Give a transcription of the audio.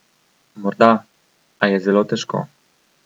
Morda, a je zelo težko.